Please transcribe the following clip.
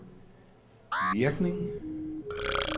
virkning